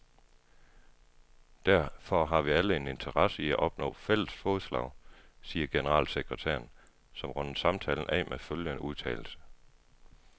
Derfor har vi alle en interesse i at opnå fælles fodslag, siger generalsekretæren, som runder samtalen af med følgende udtalelse.